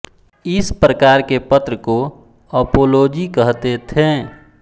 इस प्रकार के पत्र को अपोलोजी कहते थे